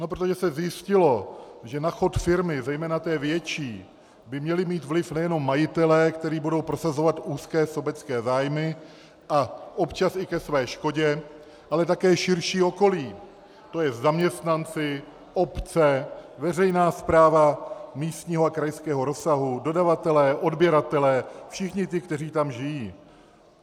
No protože se zjistilo, že na chod firmy, zejména té větší, by měli mít vliv nejenom majitelé, kteří budou prosazovat úzké sobecké zájmy, a občas i ke své škodě, ale také širší okolí, to je zaměstnanci, obce, veřejná správa místního a krajského rozsahu, dodavatelé, odběratelé, všichni ti, kteří tam žijí.